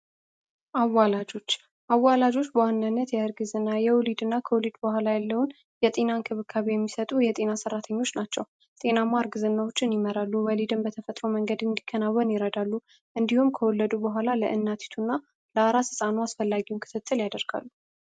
አዋላጆች አዋላጆች በዋነነት የእርግዝ እና የውሊድ እና ክውሊድ በኋላ ያለውን የጤና ንክብካቢ የሚሰጡ የጤና ሠራተኞች ናቸው። ጢናማ ርግዝናዎችን ይመራሉ። ወሊድን በተፈጥሮ መንገድ እንዲከናወን ይረዳሉ። እንዲሁም ከወለዱ በኋላ ለእናቲቱ እና ለአራስ አስፈላጊውን ክትትል ያደርጋሉ።